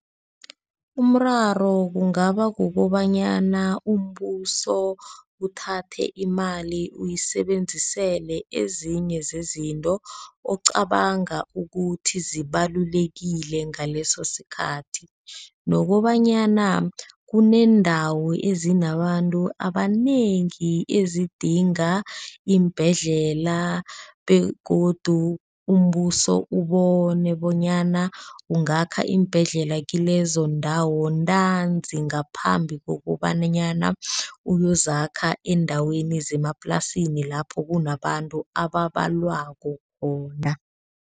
Umraro kungaba kukobanyana umbuso uthathe imali uyisebenzisele ezinye zezinto ocabanga ukuthi zibalulekile ngaleso sikhathi. Nokobanyana kuneendawo ezinabantu abanengi ezidinga iimbhedlela begodu umbuso ubone bonyana ungakha iimbhedlela kilezondawo ntanzi. Ngaphambi kokobanyana uyozakha eendaweni zemaplasini lapho kunabantu ababalwako khona.